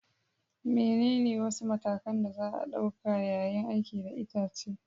Menene wasu matakan da za a ɗauka yayin aiki da itace?